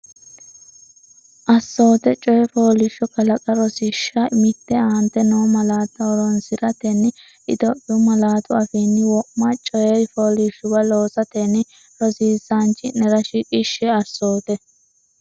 Assoote Coyi fooliishsho kalaqa Rosiishsha Mite Aante noo malaatta horoonsi’ratenni Itophiyu malaatu afiinni wo’ma coyi fooliishshuwa loosatenni rosiisaanchi’nera shiqishshe Assoote.